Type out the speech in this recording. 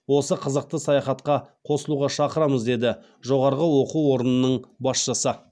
осы қызықты саяхатқа қосылуға шақырамыз деді жоғары оқу орнының басшысы